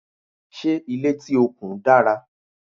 Ṣé ilé tí o kùn dára?